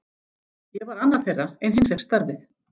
Ég var annar þeirra en hinn fékk starfið.